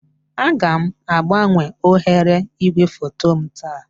Aga m agbanwe oghere igwefoto m taa